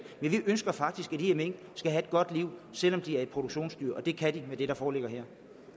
men vi ønsker faktisk at de her mink skal have et godt liv selv om de er produktionsdyr og det kan de med det der foreligger her